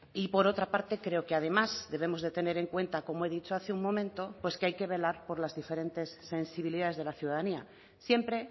y por otra parte creo que además debemos de tener en cuenta como he dicho hace un momento que hay que velar por las diferentes sensibilidades de la ciudadanía siempre